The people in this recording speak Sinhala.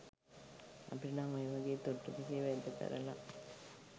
අපිට නං ඔය වගේ තුට්ටු දෙකේ වැඩ කරල